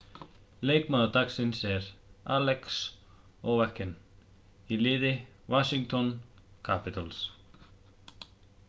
leikmaður dagsins er alex ovechkin í liði washington capitals